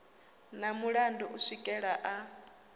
na mulandu u swikela a